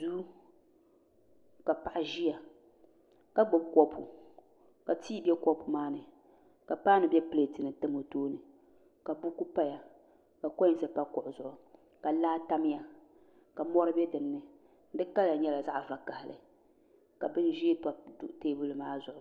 Duu ka paɣa ʒiya ka gbubi kopu ka tii bɛ kopu maa ni ka paanu bɛ pileeti ni tam o tooni ka buku paya ka koins pa kuɣi zuɣu ka laa tamya ka mori bɛ laa maa ni di kala nyɛla zaɣ vakaɣili ka bin ʒiɛ pa teebuli maa zuɣu